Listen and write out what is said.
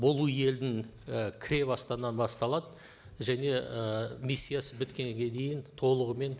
болу елдің і кіре басталады және ы миссиясы біткенге дейін толығымен